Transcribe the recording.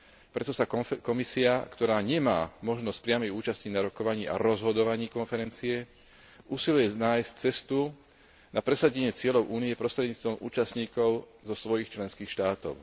Preto sa Komisia, ktorá nemá možnosť priamej účasti na rokovaniach a rozhodovaní konferencie, usiluje nájsť cestu na presadenie cieľov Únie prostredníctvom účastníkov zo svojich členských štátov.